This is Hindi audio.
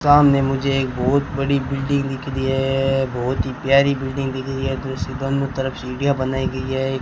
सामने मुझे एक बहोत बड़ी बिल्डिंग दिख रही है बहोत ही प्यारी बिल्डिंग दिख रही है उसके दोनों तरफ से सीढ़ियां बनाई गई हैं।